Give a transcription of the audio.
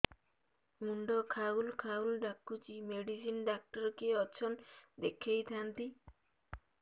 ମୁଣ୍ଡ ଖାଉଲ୍ ଖାଉଲ୍ ଡାକୁଚି ମେଡିସିନ ଡାକ୍ତର କିଏ ଅଛନ୍ ଦେଖେଇ ଥାନ୍ତି